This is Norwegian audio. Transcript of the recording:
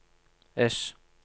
S